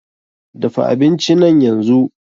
Dafa abinci nan yanzu!